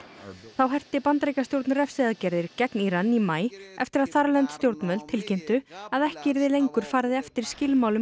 þá herti Bandaríkjastjórn refsiaðgerðir gegn Íran í maí eftir að þarlend stjórnvöld tilkynntu að ekki yrði lengur farið eftir skilmálum